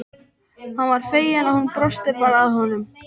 Hann var feginn að hún brosti bara að honum.